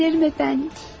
Edərəm, cənab.